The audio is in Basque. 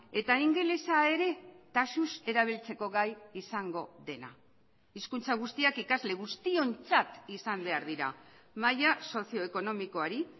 eta ingelesa ere taxuz erabiltzeko gai izango dena hizkuntza guztiak ikasle guztiontzat izan behar dira maila sozioekonomikoari